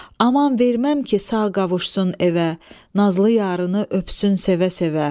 Aman verməm ki sağ qavuşsun evə, nazlı yarını öpsün sevə-sevə.